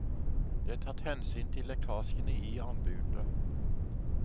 Det er tatt hensyn til lekkasjene i anbudet.